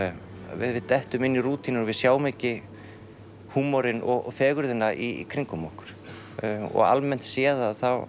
við við dettum inn í rútínur og við sjáum ekki húmorinn og fegurðina í kringum okkur og almennt séð þá